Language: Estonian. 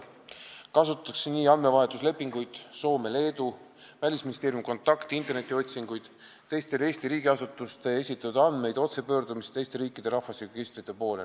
Kasutatakse andmevahetuslepinguid Soome ja Leeduga, Välisministeeriumi kontakte, internetiotsinguid, teiste Eesti riigiasutuste esitatud andmeid, otsepöördumist teiste riikide rahvastikuregistrite poole.